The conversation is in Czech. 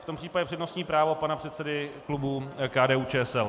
V tom případě přednostní právo pana předsedy klubu KDU-ČSL.